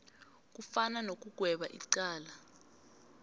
kufana nokugweba icala